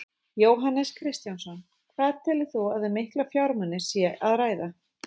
Jóhannes Kristjánsson: Hvað telur þú að um mikla fjármuni sé að ræða?